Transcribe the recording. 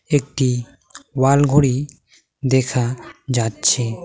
একটি ওয়াল ঘড়ি দেখা যাচ্ছে।